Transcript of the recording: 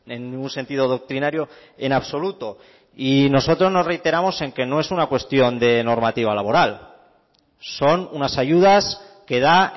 en ningún sentido doctrinario en absoluto y nosotros nos reiteramos en que no es una cuestión de normativa laboral son unas ayudas que da